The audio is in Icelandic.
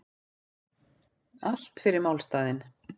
Allt fyrir málstaðinn